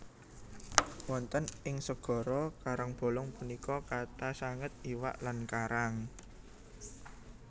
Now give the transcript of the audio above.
Wonten ing segara karangbolong punika kathah sanget iwak lan karang